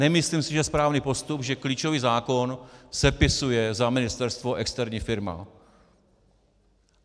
Nemyslím si, že je správný postup, že klíčový zákon sepisuje za ministerstvo externí firma.